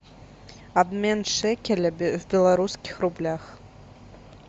обмен шекеля в белорусских рублях